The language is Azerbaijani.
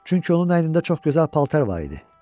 Çünki onun əynində çox gözəl paltar var idi.